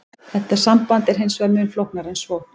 Þetta samband er hins vegar mun flóknara en svo.